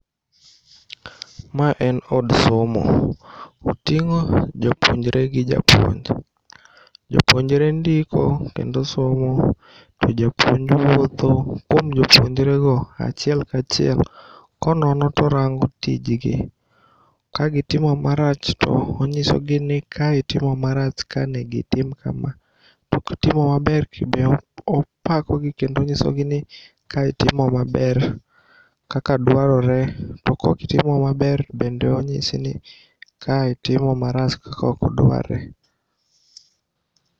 Ma en od somo. Oting'o jopuonjre gi japuonj. Jopuonjre ndiko kendo somo to japuonj wuotho kuom jopuonjrego achiel kachiel konono torango tijgi. Kagitimo marach to onyisogi ni kae itimo marach, ka negoitim kama. To kitimo maber tobe opakogi kendo onyisogi ni kae itimo maber kaka dwarore. To kokitimo maber bende onyisini kae itimo marach kakokdwarre.